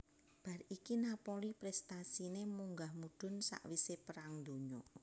Bar iku Napoli prestasine munggah mudhun sakwise Perang Donya